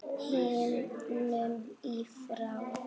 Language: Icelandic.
himnum í frá